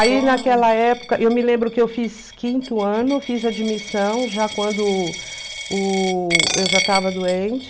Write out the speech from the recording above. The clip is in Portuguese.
Aí, naquela época, eu me lembro que eu fiz quinto ano, fiz admissão, já quando o eu já estava doente...